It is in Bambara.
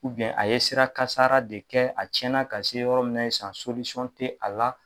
Ubiyɛn a ye sira kasara de kɛ a cɛna ka se yɔrɔ min na sisan solisɔn te a la